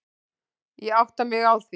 Ég átta mig á því.